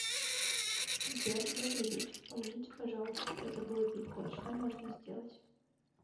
сбер добрый вечер помогите пожалуйста я забыла пин код что можно сделать